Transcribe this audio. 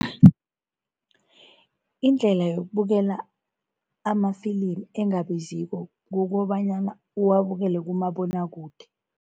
Indlela yokubukela amafilimi engabiziko kukobanyana uwabukele kumabonwakude.